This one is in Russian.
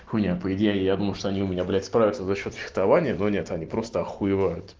хуйня по идее я думал что они у меня блять справятся за счёт фехтования но нет они просто охуевают